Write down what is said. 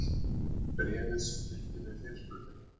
Bréfið sem fylgdi með fyrirspurninni.